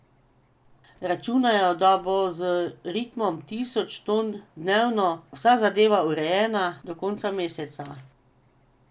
Računajo, da bo z ritmom tisoč ton dnevno vsa zadeva urejena do konca meseca.